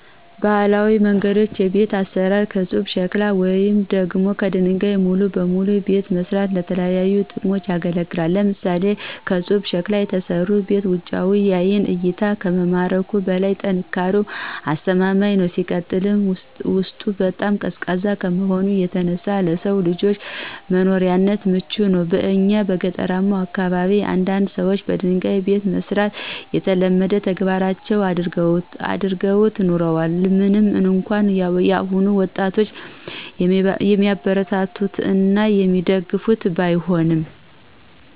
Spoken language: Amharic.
በባህላዊ መንገድ የቤት አሰራር ከፁብ ሸክላ ወይም ደግሞ ከደንጋይ ሙሉ በሙሉ ቤትን መስራት ለተለያዩ ጥቅሞች ያገለግላል። ለምሳሌ፦ ከፁብ ሸክላ የተሰራ ቤት ውጫዊው ለአይን እይታ ከመማረኩም በላይ ጥንካሬውም አስተማማኝ ነው። ሲቀጥል ውስጡ በጣም ቀዝቃዛ ከመሆኑ የተነሳ ለሰው ልጆች ለመኖሪያነት ምቹ ነው። በእኛ በገጠራማው አካባቢ አንዳንድ ሰዎች በደንጋይ ቤትን መስራት የተለመደው ተግባራቸው አድርገውት ኑረዋል ምንም እንኳን የአሁኑ ወጣጦች የሚያበረታቱት እና የሚደግፉት ባይሆንም።